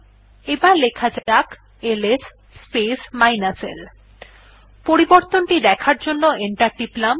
এবার লেখা যাক এলএস স্পেস l পরিবর্তন দেখার জন্য এন্টার টিপলাম